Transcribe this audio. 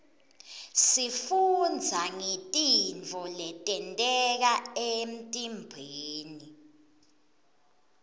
sifundza ngetintfo letenteka emtimbeni